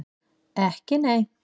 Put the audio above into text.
Ekki nei?